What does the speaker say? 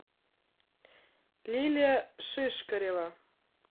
лилия шишкарева